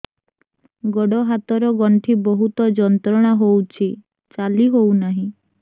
ଗୋଡ଼ ହାତ ର ଗଣ୍ଠି ବହୁତ ଯନ୍ତ୍ରଣା ହଉଛି ଚାଲି ହଉନାହିଁ